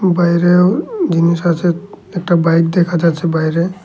বাইরেও জিনিস আছে একটা বাইক দেখা যাচ্ছে বাইরে।